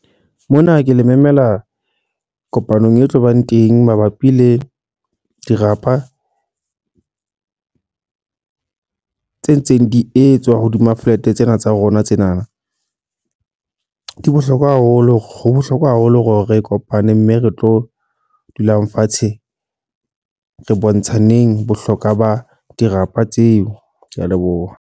Mona ke le memela kopanong e tlobang teng mabapi le dirapa tse ntseng di etswa hodima flat tsena tsa rona tsena. Ke bohlokwa haholo, ho bohlokwa haholo hore re kopane mme re tlo dulang fatshe re bontsha neng bohlokwa ba dirapa tseo. Ke a leboha.